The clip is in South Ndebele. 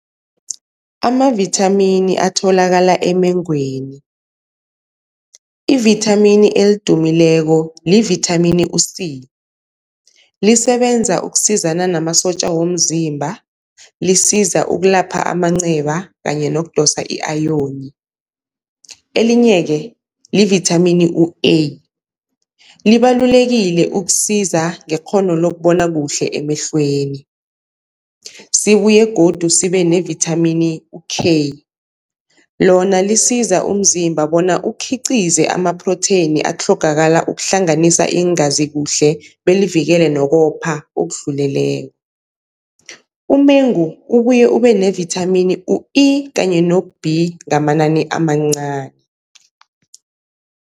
Amavithamini atholakala emengweni. Ivithamini elidumileko livithamini u-C, lisebenza ukusizana namasotja womzimba, lisiza ukulapha amanceba kanye nokudosa i-ayoni. Elinye-ke livithamini u-A, libalulekile ukusiza ngekghono lokubona kuhle emehlweni, sibuye godu sibe nevithamini u-K, lona lisiza umzimba bona ukukhiqize amaphrotheyini atlhogakala ukuhlanganisa iingazi kuhle belivikele nokuwopha okudluleleko. Umengu ubuye ube nevithamini u-E kanye no-B ngamanani amancani.